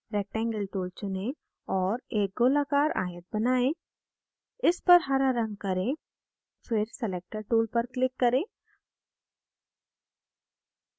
rectangle tool चुनें और एक गोलाकार आयत बनाएं इस पर हरा रंग करें फिर selector tool पर click करें